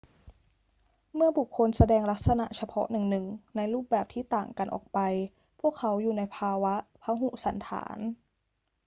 เมื่อบุคคลแสดงลักษณะเฉพาะหนึ่ง ๆ ในรูปแบบที่ต่างกันออกไป พวกเขาอยู่ในภาวะพหุสันฐาน